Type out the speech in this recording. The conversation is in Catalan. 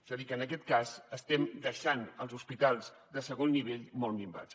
és a dir que en aquest cas estem deixant els hospitals de segon nivell molt minvats